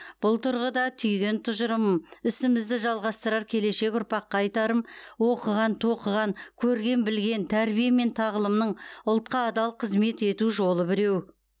бұл тұрғыда түйген тұжырымым ісімізді жалғастырар келешек ұрпаққа айтарым оқыған тоқыған көрген білген тәрбие мен тағылымның ұлтқа адал қызмет ету жолы біреу